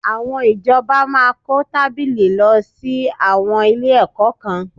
Àwọn ìjọba máa kó tábìlì lọ sí àwọn ilé-ẹ̀kọ́ kan